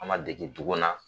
An man dege dugu na